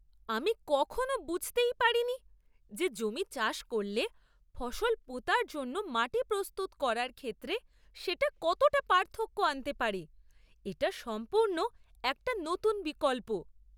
আমি কখনও বুঝতেই পারিনি যে জমি চাষ করলে ফসল পোঁতার জন্য মাটি প্রস্তুত করার ক্ষেত্রে সেটা কতটা পার্থক্য আনতে পারে; এটা সম্পূর্ণ একটা নতুন বিকল্প!